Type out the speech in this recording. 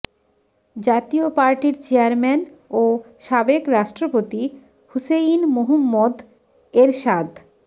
জাতীয় পার্টির চেয়ারম্যান ও সাবেক রাষ্ট্রপতি হুসেইন মুহম্মদ এরশাদ